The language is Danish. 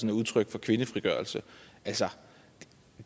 er udtryk for kvindefrigørelse